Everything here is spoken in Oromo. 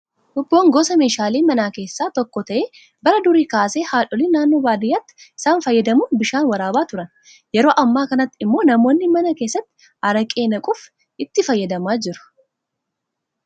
Hubboon gosa meeshaalee manaa keessaa tokko ta'ee bara durii keessa haadholiin naannoo baadiyyaatti isaan fayyadamuun bishaan waraabaa turan. Yeroo ammaa kanatti immoo namoonni mana keessatti araqee naquuf itti fayyadamaa jiru.